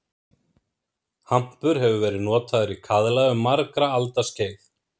Hampur hefur verið notaður í kaðla um margra alda skeið.